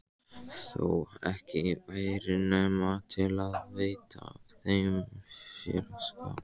Þó ekki væri nema til að veita þeim félagsskap.